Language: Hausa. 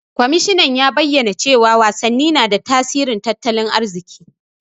Kwamishinan ya bayyana cewa wasanni na da tasirin tattalin arziki.